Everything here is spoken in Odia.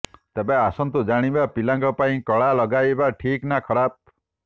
ତେବେ ଆସନ୍ତୁ ଜାଣିବା ପିଲାଙ୍କ ପାଇଁ କଳା ଲଗାଇବା ଠିକ୍ ନା ଖରାପ